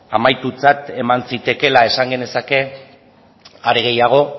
amaitutzat eman zitekeela esan genezake are gehiago